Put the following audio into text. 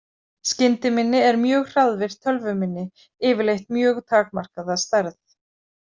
Skyndiminni er mjög hraðvirkt tölvuminni, yfirleitt mjög takmarkað að stærð.